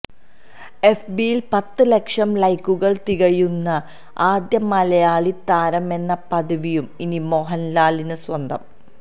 എഫ്ബിയില് പത്ത് ലക്ഷം ലൈക്കുകള് തികയ്ക്കുന്ന ആദ്യ മലയാളിയാളി താരമെന്ന പദവിയും ഇനി മോഹന്ലാലിന് സ്വന്തം